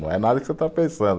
Não é nada que você está pensando.